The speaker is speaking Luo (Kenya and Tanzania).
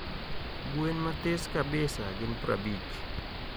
gwe mathis kabisa gin prabich